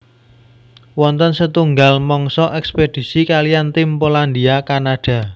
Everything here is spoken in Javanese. Wonten setunggal mangsa ekspedisi kaliyan tim Polandia Kanada